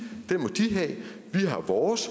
har vores